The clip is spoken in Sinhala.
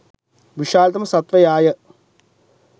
විශාලතම සත්වයාය.